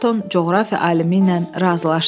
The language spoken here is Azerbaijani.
Ayrton coğrafiya alimi ilə razılaşdı.